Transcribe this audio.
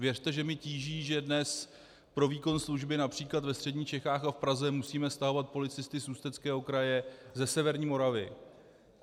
Věřte, že mě tíží, že dnes pro výkon služby například ve středních Čechách a v Praze musíme stahovat policisty z Ústeckého kraje, ze severní Moravy.